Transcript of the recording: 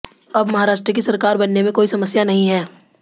अब महाराष्ट्र की सरकार बनने में कोई समस्या नही है